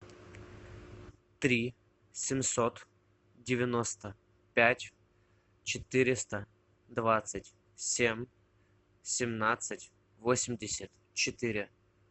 три семьсот девяносто пять четыреста двадцать семь семнадцать восемьдесят четыре